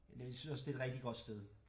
Jeg synes også det er et rigtig godt sted